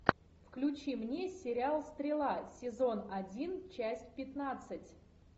включи мне сериал стрела сезон один часть пятнадцать